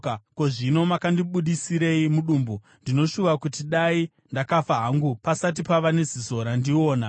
“Ko, zvino makandibudisirei mudumbu? Ndinoshuva kuti dai ndakafa hangu pasati pava neziso randiona.